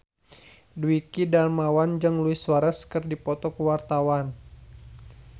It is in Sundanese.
Dwiki Darmawan jeung Luis Suarez keur dipoto ku wartawan